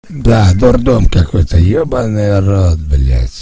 да дурдом какой-то ёбаный рот блять